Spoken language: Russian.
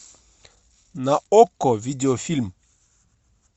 на окко видеофильм